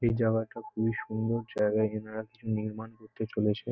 এই জায়গাটা খুবই সুন্দর জায়গা এনারা কিছু নির্মাণ করতে চলেছে ।